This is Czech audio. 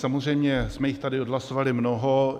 Samozřejmě jsme jich tady odhlasovali mnoho.